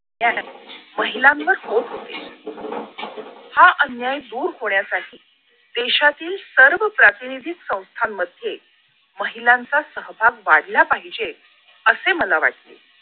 महिलांवर होते हा अन्याय दूर होण्यासाठी देशातील सर्व प्रातिनिधिक संस्थांमध्ये महिलांचा सहभाग वाढला पाहिजे असे मला वाटले